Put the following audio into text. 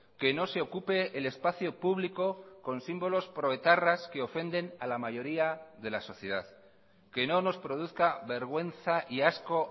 que no se ocupe el espacio público con símbolos proetarras que ofenden a la mayoría de la sociedad que no nos produzca vergüenza y asco